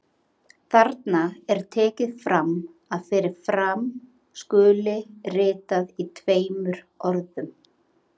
Þarna er tekið fram að fyrir fram skuli ritað í tveimur orðum.